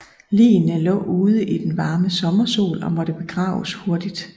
Ligene lå ude i den varme sommersol og måtte begraves hurtigt